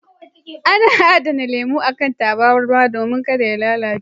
Ana adana lemo a kan tabarma domin ka da ya lalace.